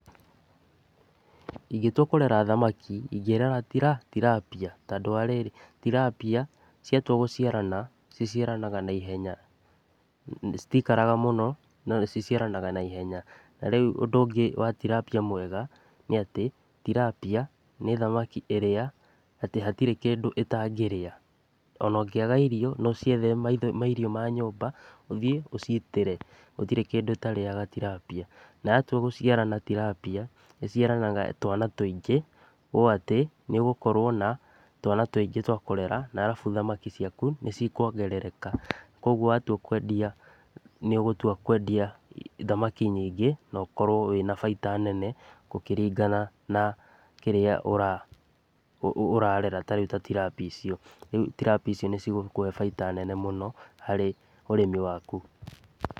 Ingĩtua kũrera thamaki ingĩrera tilapia tondũ wa rĩrĩ tilapia ciatua gũciarana ciciaranaga naihenya citiikaraga mũno no nĩ ciciaranaga naihenya. Ta rĩu ũndũ ũngĩ wa tilapia mwega nĩ atĩ tilapia nĩ thamaki ĩrĩa atĩ hatĩrĩ kĩndũ ĩtangĩrĩa. Ona ũngĩaga irio no ũciethere mairio ma nyũmba ũthiĩ ũcitĩre gũtirĩ kĩndũ ĩtarĩaga tilapia. Na yatua gũciarana tilapia ĩciaranaga twana tũingĩ ũũ atĩ nĩ ũgũkorwo na twana tũingĩ twakũrera arabu thamaki ciaku nĩ cikuongerereka. Kwoguo watua kwendia nĩ ũgũtua kwendia thamaki nyingĩ no ũkorwo wĩna baita nene gũkĩringana na kĩrĩa ũrarera tarĩu ta tilapia icio. Rĩu tilapia icio nĩ cigũkũhe baita nene mũno harĩ ũrĩmi waku.